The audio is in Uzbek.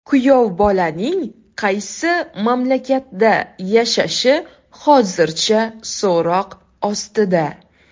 Kuyovbolaning qaysi mamlakatda yashashi hozircha so‘roq ostida.